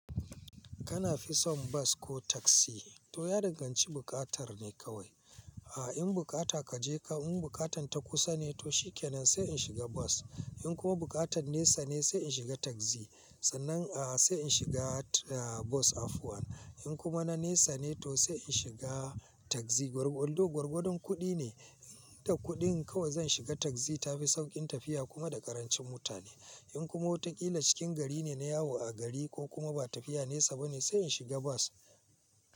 Kana fisan bas ko tagzi to ya danganci bukatar ne kawai. A in bukata kaje ka in bukatan ta kusa ne to shi kenan sai in shiga bas. In kuma bukatan nesa ne sai in shiga tagzi. Sannan a sai in shiga bus afwan. In kuma na nesa ne to sai in shiga tagzi. Gwargwadon, gwargwadon kudi ne. Da kudin kawai zan shiga tagzi tafi saukin tafiya kuma da karancin mutane. In kuma watakila cikin gari ne na yawo a gari ko kuma ba tafiya nesa bane sai in shiga bas.